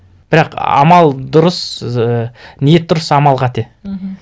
бірақ амал дұрыс ііі ниет дұрыс амал қате мхм